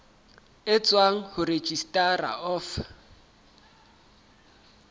e tswang ho registrar of